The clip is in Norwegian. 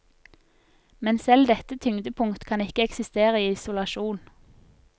Men selv dette tyngdepunkt kan ikke eksistere i isolasjon.